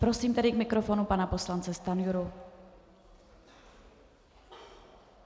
Prosím tedy k mikrofonu pana poslance Stanjuru.